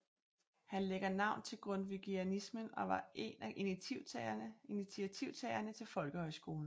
Han lægger navn til grundtvigianismen og var en af initiativtagerne til folkehøjskolen